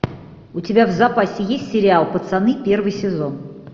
у тебя в запасе есть сериал пацаны первый сезон